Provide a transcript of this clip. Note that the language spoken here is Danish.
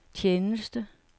tjeneste